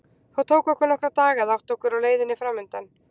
Það tók okkur nokkra daga að átta okkur á leiðinni framundan.